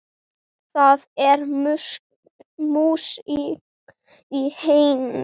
Það er músík í henni.